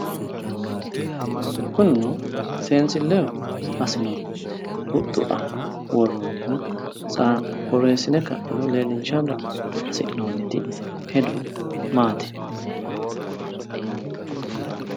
kunino seesilleno assinoonnihu huxxu aana horronnihu borreessine ka'niro leellinshara hasi'nooniti hedo maati?